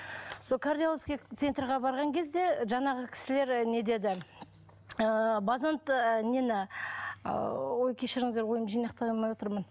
сол кардиологический центрге барған кезде жаңағы кісілер не деді ыыы нені ыыы ой кешіріңздер ойымды жинақтай алмай отырмын